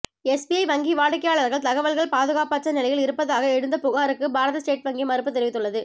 SBI வங்கி வாடிக்கையாளர்கள் தகவல்கள் பாதுகாப்பற்ற நிலையில் இருப்பதாக எழுந்த புகாருக்கு பாரத ஸ்டேட் வங்கி மறுப்பு தெரிவித்துள்ளது